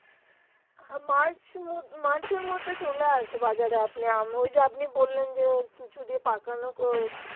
আহ march উম march এর মধ্যে চলে আসে বাজার এ আপনি আম ওই যে আপনি বললেন যে কিছু দিয়ে পাকানোকে